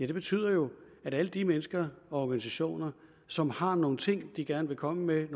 det betyder jo at alle de mennesker og organisationer som har nogle ting de gerne vil komme med